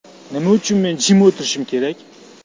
Nima uchun men jim o‘tirishim kerak?